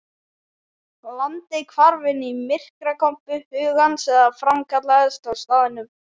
Landið hvarf inn í myrkrakompu hugans eða framkallaðist á staðnum.